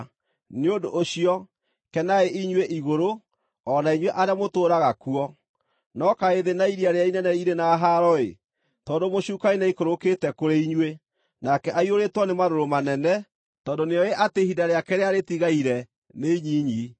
Nĩ ũndũ ũcio, kenai inyuĩ igũrũ, o na inyuĩ arĩa mũtũũraga kuo! No kaĩ thĩ na iria rĩrĩa inene irĩ na haaro-ĩ, tondũ mũcukani nĩaikũrũkĩte kũrĩ inyuĩ! Nake aiyũrĩtwo nĩ marũrũ manene, tondũ nĩoĩ atĩ ihinda rĩake rĩrĩa rĩtigaire nĩ inyinyi.”